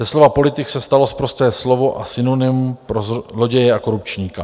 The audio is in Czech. Ze slova politik se stalo sprosté slovo a synonymum pro zloděje a korupčníka.